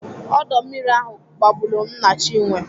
Ọdọ mmiri ahụ gbagburu nna Chinwe